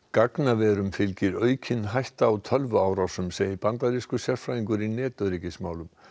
gagnaverum fylgir aukin hætta á tölvuárásum segir bandarískur sérfræðingur í netöryggismálum